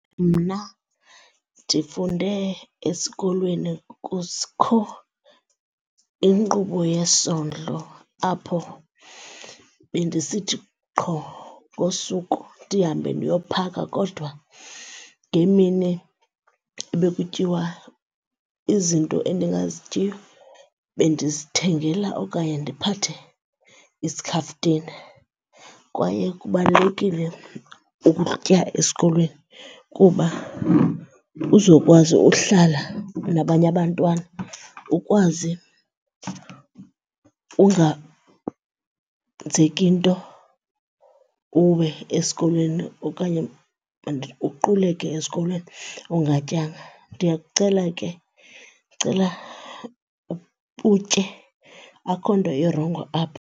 Mna ndifunde esikolweni inkqubo yesondlo apho bendisithi qho ngosuku ndihambe ndiyophaka kodwa ngeemini ebekutyiwa izinto endingazityiyo bendizithengela okanye ndiphathe iskhaftina. Kwaye kubalulekile ukutya esikolweni kuba uzokwazi uhlala nabanye abantwana ukwazi unganzeki nto uwe esikolweni okanye uquleke esikolweni ungatyanga. Ndiyakucela ke ndicela utye, akho nto irongo apho.